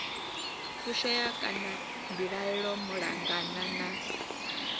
fushea kana mbilaelo malugana na